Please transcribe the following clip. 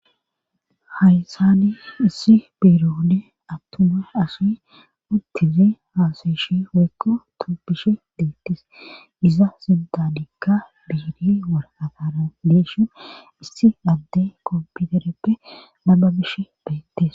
haysani issi biirone attuma asi udtize haasayishi hoykko tupishe deettis iza sintanikka biiri waratana deishin issi adde kompitereppe nababishe beettes